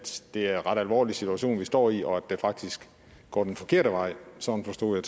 det er en ret alvorlig situation vi står i og at det faktisk går den forkerte vej sådan forstod